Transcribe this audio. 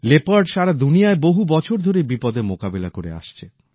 leopard সারা দুনিয়ায় বহু বছর ধরেই বিপদের মোকাবিলা করে আসছে